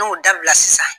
N'o dabila sisan